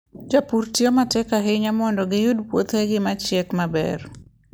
Jopur tiyo matek ahinya mondo giyud puothe ma gichiek maber.